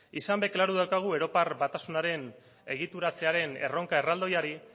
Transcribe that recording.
izan bait klaru daukagu europar batasunaren egituratzearen erronka erraldoiari